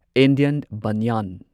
Indian ꯕꯟꯌꯥꯟ